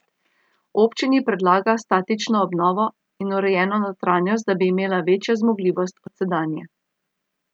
Občini predlaga statično obnovo in urejeno notranjost, da bi imela večjo zmogljivost od sedanje.